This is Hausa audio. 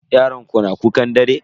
Yaron ku na kukan dare?